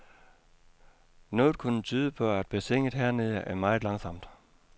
Noget kunne tyde på, at bassinet hernede er meget langsomt.